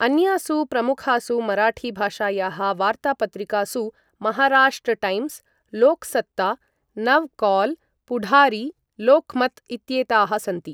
अन्यासु प्रमुखासु मराठी भाषायाः वार्तापत्रिकासु महाराष्ट्र टैम्स्, लोक्सत्ता, नव काल्, पुढारी, लोक्मत् इत्येताः सन्ति।